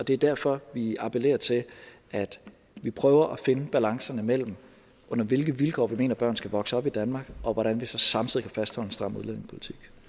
det er derfor vi appellerer til at vi prøver at finde balancerne mellem under hvilke vilkår vi mener børn skal vokse op i danmark og hvordan vi så samtidig kan fastholde en